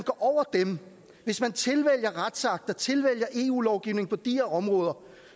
over dem og tilvælger retsakter tilvælger eu lovgivning på de her områder